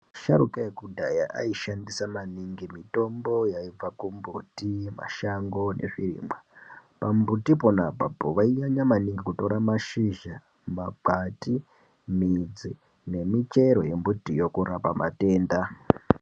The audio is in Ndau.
Asharuka ekudhaya aishandisa maningi mitombo yaibva kumbuti, mashango nezvirimwa. Pambuti pona apapo vainyanya maningi kutora mashizha, makwati, midzi nemichero yembitiyo kurapa matenda.